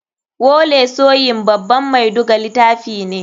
Wole soyin baban mai duga litafi ne.